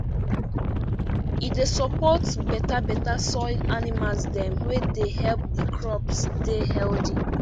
e dey support beta beta soil animals dem wey dey help di crops dey healthy